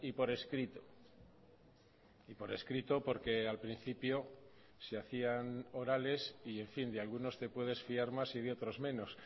por escrito y por escrito porque al principio se hacían orales y en fin de algunos te puedes fiar más y de otros menos